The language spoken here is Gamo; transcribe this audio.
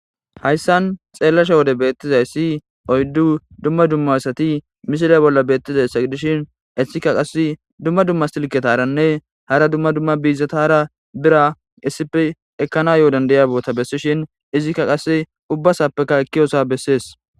hayssan xeellasha wode beettizayssi oyddu dumma dumma assati misira bolla beettizayssa gidishin essikka qass dumma dumma silketaranne hara dumma dumma biizata ara bira issipe ekkana yoodan daya boota bessishin izikka qasse ubbasappeka ekkiyosa bessees